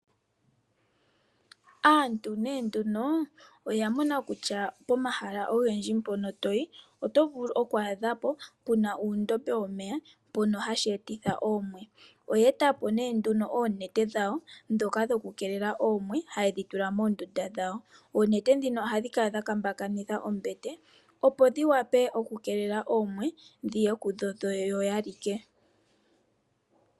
Aantu ne nduno, oya mona kutya pomahala ogendji mpono to yi, oto vulu oku adha po pu na uundombe womeya shono hashi etitha oomwe. Oye eta po nduno oonete dhawo ndhoka dhokukeelela oomwe haye dhi tula moondubda dhawo. Oonete ndhino ohadhi kala dha kambakanitha ombete, opo dhi wape okukeelela oomwe dhi ye kuyo yo ya like.